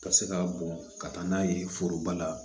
Ka se ka bɔn ka taa n'a ye foroba la